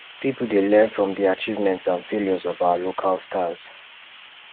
pipo dey learn from di achievements and failures of our local stars